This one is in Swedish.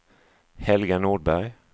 Helga Nordberg